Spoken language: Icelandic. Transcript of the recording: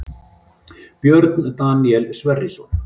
Björn Daníel Sverrisson